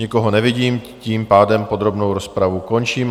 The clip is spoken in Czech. Nikoho nevidím, tím pádem podrobnou rozpravu končím.